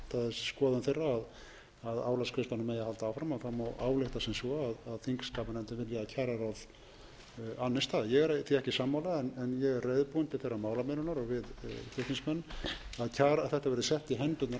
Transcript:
skoðun þeirra að álagsgreiðslunum eigi að halda áfram og það má álykta sem svo að þingskapanefndin vilji að kjararáð annist það ég er því ekki sammála en ég er reiðubúinn til þeirrar málamiðlunar og við flutningsmenn að þetta verði sett í hendurnar